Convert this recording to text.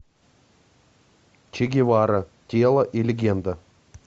че гевара тело и легенда